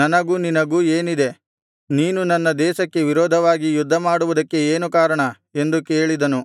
ನನಗೂ ನಿನಗೂ ಏನಿದೆ ನೀನು ನನ್ನ ದೇಶಕ್ಕೆ ವಿರೋಧವಾಗಿ ಯುದ್ಧಮಾಡುವುದಕ್ಕೆ ಏನು ಕಾರಣ ಎಂದು ಕೇಳಿದನು